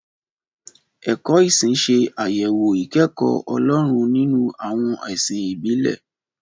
Ẹ̀kọ́ ìsìn ṣe àyẹ̀wò ìkẹ́kọ̀ọ́ Ọlọ́run nínú àwọn ẹ̀sìn ìbílẹ̀.